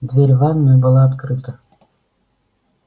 дверь в ванную была открыта